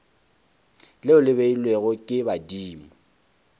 leo le beilwego ke badimo